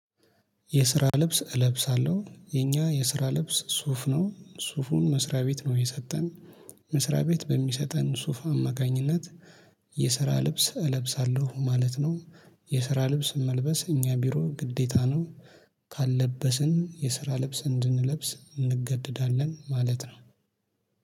የስራ ልብስ እለብሳለሁ የኛ የስራ ልብስ ሱፍ ነው ሱፉን መስሪያ ቤት ነው የሰጠን መስሪያ ቤት በሚሰጠን ሱፍ አማካኝነት የስራ ልብስ እለብሳለሁ ማለት ነው። የስራ ልብስ መልበስ እኛ ቢሮ ግዴታ ነው። ካልለበስን የስራ ልብስ እንድንለብስ እንገደዳለን ማለት ነው